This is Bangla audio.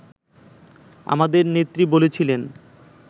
আমাদের নেত্রী বলেছিলেন